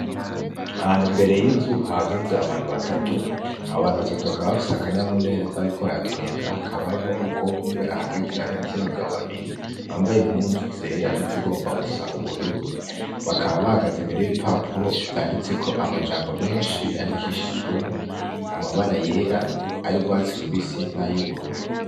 Ahantu imbere y'inzu hahagaze abantu batatu. Abo bantu batatu bakaba bafise akanyamuneza bariko baratwenga hakaba harimwo umukobwa umwe ahagaze hagati y'abagabo babiri bambaye impuzu zera nizigomba gusa ubururu bakaba bahagaze imbere y'ibipapuro vyanditseko amajambo menshi yandikishijwemwo amabara yera ay'urwatsi rubisi nay'ubururu.